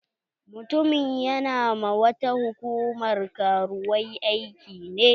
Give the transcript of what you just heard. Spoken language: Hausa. Mutumin ƴana ma wata hukumar karuwai aiki ne.